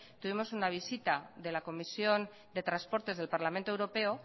tuvimos una visita de la comisión de transportes del parlamento europeo